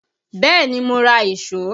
Bẹ́ẹ̀ni, mo ra ìṣó